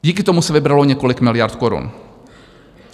Díky tomu se vybralo několik miliard korun.